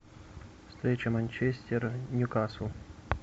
встреча манчестер ньюкасл